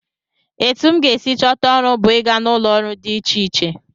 Etu m ga-esi chọta ọrụ bụ ịga n'ụlọọrụ dị iche iche